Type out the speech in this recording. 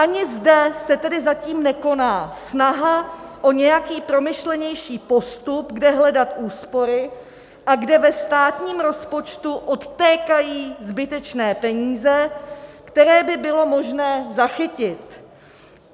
Ani zde se tedy zatím nekoná snaha o nějaký promyšlenější postup, kde hledat úspory a kde ve státním rozpočtu odtékají zbytečné peníze, které by bylo možné zachytit.